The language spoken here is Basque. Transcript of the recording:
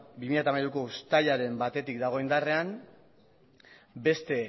bi mila hamairuko uztailaren batetik dago indarrean beste